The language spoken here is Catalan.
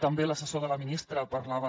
també l’assessor de la ministra parlava